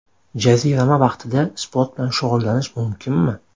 Jazirama vaqtida sport bilan shug‘ullanish mumkinmi?